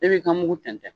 E b'i ka mugu tɛntɛn